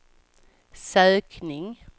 sökning